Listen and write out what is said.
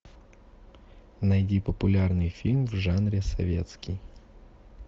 найди популярный фильм в жанре советский